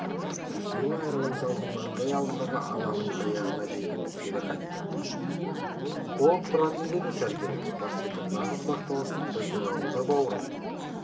екеуі аэровокзалдың маңдай алдындағы алаңның аяғына жетіп кері қайтты болып тұратын деді сәргел мырс етіп нағыз бақталастық біздің ауылда бауырым